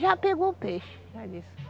Já pegou o peixe, ela disse.